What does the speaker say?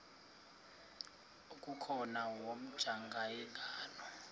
okukhona wamjongay ngaloo